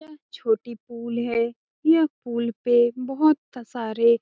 यह छोटी पूल है। यह पूल पे बोहोत सारे --